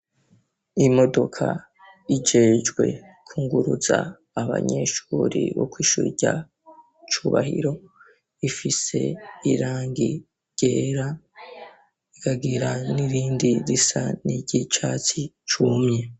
Imodoka ijejwe kunguruza abanyeshure bo kwishure rya cubahiro, ifise irangi ryera ikagira nirindi risa n'iryicatsi cumye.